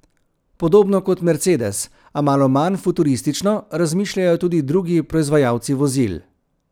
Podobno kot Mercedes, a malo manj futuristično, razmišljajo tudi drugi proizvajalci vozil.